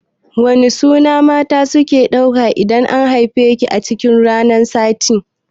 Wane suna mata suke ɗauka idan an haife su a cikin ranakun sati?